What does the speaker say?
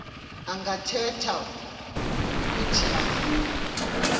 angakhetha uuthi avume